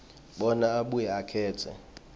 bona abuye akhetse